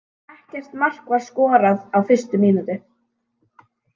Ekkert mark var skorað á fyrstu mínútu.